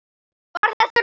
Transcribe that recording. Var það réttur dómur?